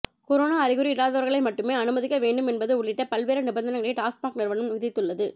corona அறிகுறி இல்லாதவர்களை மட்டுமே அனுமதிக்க வேண்டும் என்பது உள்ளிட்ட பல்வேறு நிபந்தனைகளை டாஸ்மாக் நிறுவனம் விதித்துள்ளது